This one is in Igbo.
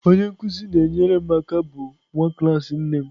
Onye nkụzi na-enyere m aka bụ nwa klas nne m.